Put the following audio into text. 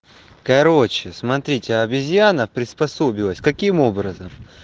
короче смотрите обезьяна приспособилась каким образом